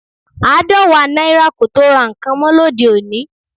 Aadọwa naira kò tó ra nǹkan mọ́ lóde òní